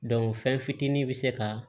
fɛn fitinin be se ka